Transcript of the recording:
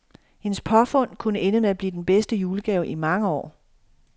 Hendes påfund, kunne ende med at blive den bedste julegave i mange år.